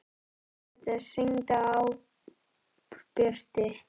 Karitas, hringdu í Árbjörtu.